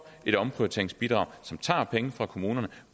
et omprioriteringsbidrag som tager penge fra kommunerne